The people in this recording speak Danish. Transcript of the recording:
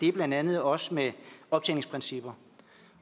er blandt andet også med optjeningsprincipper